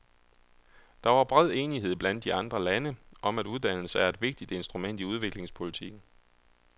Der var bred enighed blandt de andre lande om, at uddannelse er et vigtigt instrument i udviklingspolitikken.